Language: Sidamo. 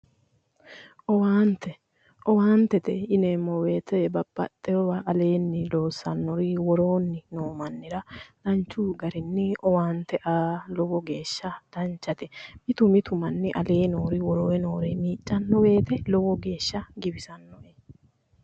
Owaante, owaantete yineeemmo woyiite babbaxxewoowa aleenni loosanno woyi woroonni loosannohura owaante aa lowo geeshsha danchate mitu mitu manni aleenni heere woroonni nooha miicanno woyiite lowo geeshsha giwisannoe.